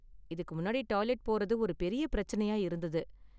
இதுக்கு முன்னாடி டாய்லெட் போறது ஒரு பெரிய பிரச்சனையா இருந்தது.